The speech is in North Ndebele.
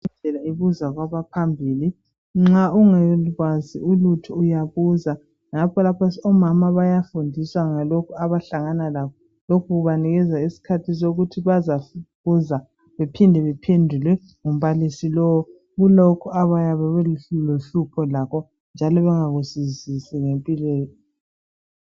Indlela ibuzwa kwabaphambili nxa unga Kwazi ulutho uyabuza ngakho omama lapha bayafundiswa ngalokhu abahlangana lakho lokhu kubanikeza isikhathi sokuthi bazabuzwa bephinde bephendule ngumbalisi lo kulokhu abayabe belohlupho lakho njalo bengakuzwisisi ngempilo yabo